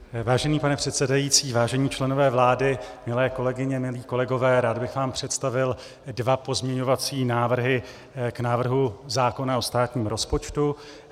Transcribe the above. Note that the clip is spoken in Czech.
Vážený pane předsedající, vážení členové vlády, milé kolegyně, milí kolegové, rád bych vám představil dva pozměňovací návrhy k návrhu zákona o státním rozpočtu.